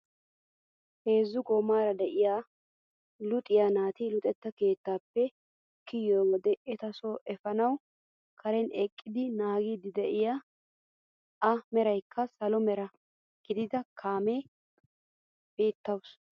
Heezzu goomara de'iyaa luxiyaa naati luxetta keettaappe kiyoo wode eta so epanawu karen eqqidi naagiidi de'iyaa a merakka salo mera gidido kaamiyaa beettawus.